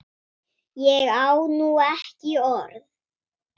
Ég á nú ekki orð!